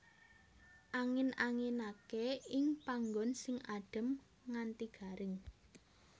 Angin anginake ing panggon sing adem nganti garing